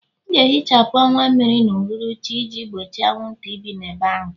M ga-ehichapụ ọwa mmiri n'uhuruchi a iji gbochie anwụnta ibi ebe ahụ